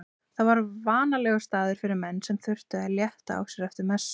Það var vanalegur staður fyrir menn sem þurftu að létta á sér eftir messu.